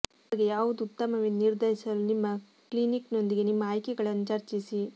ನಿಮಗೆ ಯಾವುದು ಉತ್ತಮವೆಂದು ನಿರ್ಧರಿಸಲು ನಿಮ್ಮ ಕ್ಲಿನಿಕ್ನೊಂದಿಗೆ ನಿಮ್ಮ ಆಯ್ಕೆಗಳನ್ನು ಚರ್ಚಿಸಿ